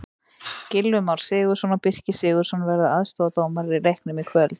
Gylfi Már Sigurðsson og Birkir Sigurðarson verða aðstoðardómarar í leiknum í kvöld.